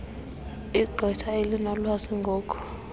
igqwetha elinolwazi ngoku